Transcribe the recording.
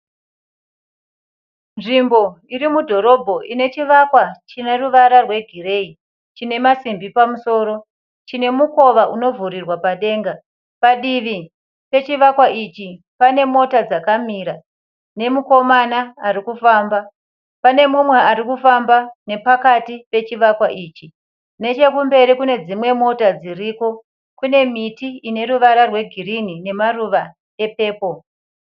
Nzvimbo irimudhorobha inechivakwa chineruvara rwegireyi chine masimbi pamusoro chine mukova unovhurirwa padenga, padivi pechivakwa ichi pane mota dzakamira nemukomana arikufamba pane umwe arikufamba pakati pechivakwa ichi. Nechekumberi kune dzimwe mota dziripo kune miti inemarava rwegirini nemaruva epepo.